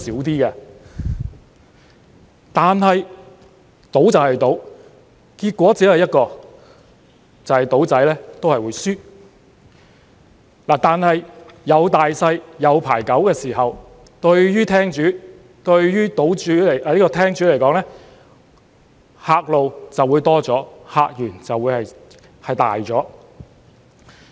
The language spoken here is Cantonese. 然而，賭就是賭，結果只有一個，就是"賭仔"都會輸，但有大細、有牌九的時候，對廳主來說，客路便會多了，客源會大了。